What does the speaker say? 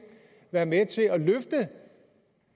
være med til at løfte